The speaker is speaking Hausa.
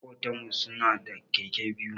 Makotan mu su na da Keke biyu.